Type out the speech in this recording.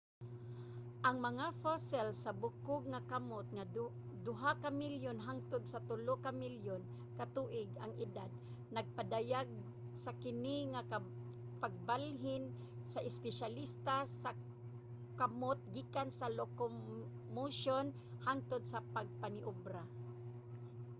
ang mga fossil sa bukog nga kamot nga duha ka milyon hangtod sa tulo ka milyon ka tuig ang edad nagpadayag sa kini nga pagbalhin sa espesyalista sa kamut gikan sa locomotion hangtod sa pagmaniobra